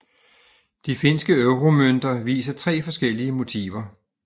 De finske euromønter viser tre forskellige motiver